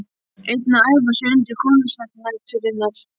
Einn að æfa sig undir konsert nætur- innar.